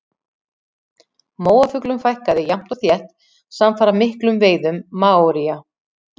Móafuglum fækkaði jafnt og þétt samfara miklum veiðum maóría.